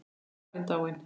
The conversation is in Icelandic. Hann er farinn, dáinn.